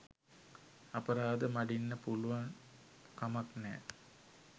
අපරාධ මඩින්න පුළුවන් කමක් නෑ.